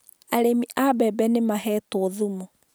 Arĩmi a mbebe nĩ mahetwo thumu